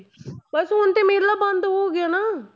ਬਸ ਹੁਣ ਤੇ ਮੇਲਾ ਬੰਦ ਹੋ ਗਿਆ ਨਾ,